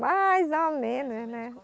Mais ou menos, né?